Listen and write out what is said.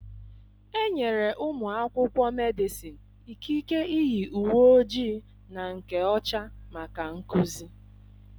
Enyere ụmụ akwụkwọ Medịsịn ikike iyi uwe ojii na nke ọcha maka nkuzi.